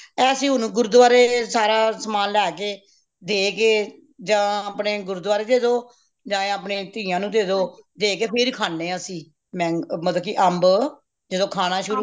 ਏਹ ਅਸੀਂ ਹੁਣ ਗੁਰਦੁਆਰੇ ਸਾਰਾ ਸਮਾਨ ਲੇ ਕੇ ਦੇ ਕੇ ਯਾ ਅਪਣੇ ਗੁਰਦੁਆਰੇ ਦੇਦੋ ਯਾ ਅਪਣੀ ਤੀਆਂ ਨੂੰ ਦੇਦੋ ਦੇ ਕੇ ਫਿਰ ਖਾਣੇ ਹਾਂ ਅਸੀਂ manga ਮਤਲਬ ਕਿ ਅੰਭ ਜਦੋ ਖਾਣਾ ਸ਼ੁਰੂ